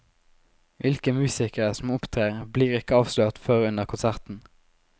Hvilke musikere som opptrer, blir ikke avslørt før under konserten.